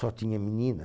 Só tinha menina.